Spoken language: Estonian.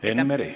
Enn Meri.